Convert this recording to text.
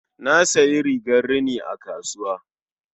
Na sayi rigar rini a kasuwa.